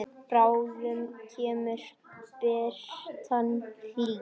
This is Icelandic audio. Bráðum kemur birtan hlý.